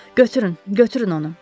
Götürün, götürün onu.